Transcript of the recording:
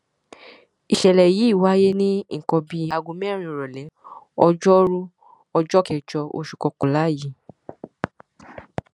ìṣẹlẹ yìí wáyé ní nǹkan bíi aago mẹrin ìrọlẹ ọjọrùú ọjọ kẹjọ oṣù kọkànlá yìí